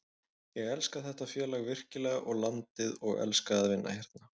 Ég elska þetta félag virkilega og landið og elska að vinna hérna.